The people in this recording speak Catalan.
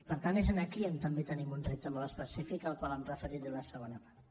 per tant és aquí on també tenim un repte molt específic al qual em referiré a la segona part